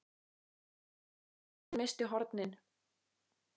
Það var þá sem hann missti hornin.